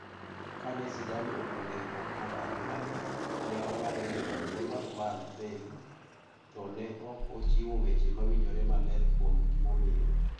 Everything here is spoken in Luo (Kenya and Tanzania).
Kane Zidane oduogo e riwruok mar adulano, ne ong'ado ni ok odwar Bale, to ne ok ochiwo weche mawinjore maler kuom gimomiyo.